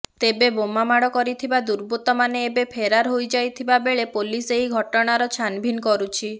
ତେବେ ବୋମା ମାଡ କରିଥିବା ଦୁର୍ବୁତମାନେ ଏବେ ଫେରାର ହୋଇଯାଇଥିବା ବେଳେ ପୋଲିସ ଏହି ଘଟଣାର ଛାନଭିନ କରୁଛି